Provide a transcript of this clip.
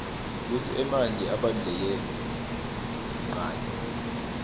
kutsi emanti abaluleke nqani